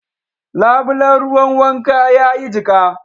Labulen ruwan wanka ya yi jika